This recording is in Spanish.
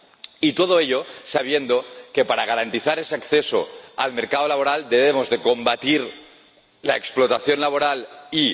Y todo ello sabiendo que, para garantizar ese acceso al mercado laboral, debemos combatir la explotación laboral y...